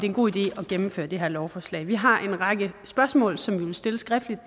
en god idé at gennemføre det her lovforslag vi har en række spørgsmål som vi vil stille skriftligt